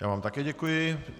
Já vám také děkuji.